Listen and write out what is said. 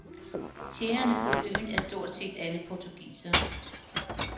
Tjenerne på øen er stort set alle portugisere.